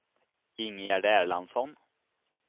Ingegärd Erlandsson